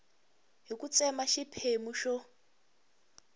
hi ku tsema xiphemu xo